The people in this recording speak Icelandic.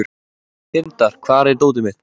Tindar, hvar er dótið mitt?